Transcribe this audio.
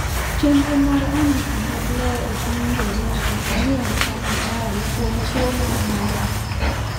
Chenro mar andike mag lowo epiny Ingereza omi arita makare kuom kuo mar data.